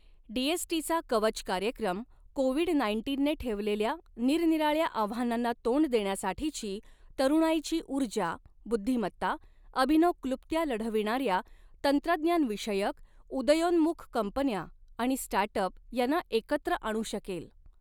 D S T चा कवच कार्यक्रम, कोविड नाईन्टीनने ठेवलेल्या निरनिराळ्या आव्हानांना तोंड देण्यासाठीची तरुणाईची ऊर्जा, बुद्धिमत्ता, अभिनव क्लृप्त्या लढविणाऱ्या तंत्रज्ञान विषयक उदयोन्मुख कंपन्या आणि स्टार्टअप यांना एकत्र आणू शकेल.